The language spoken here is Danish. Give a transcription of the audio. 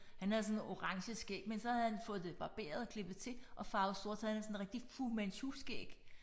Han havde sådan orange skæg men så havde han fået det barberet klippet til og farvet sort så han havde sådan rigtig Fu Manchu-skæg